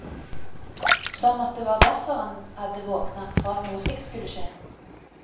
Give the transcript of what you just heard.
Som at det var derfor han hadde våkna, for at noe slikt skulle skje.